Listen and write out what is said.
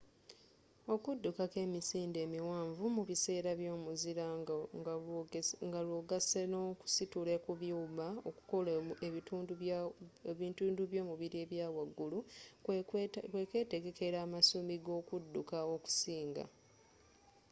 okudduka ko emisinde emiwanvu mu biseera by'omuzira nga lwogasse n'okusitula ku byuma okukola ebitundu by'omubiri ebyawagulu kwe kwetegekera amasumi g'okudukka okusinga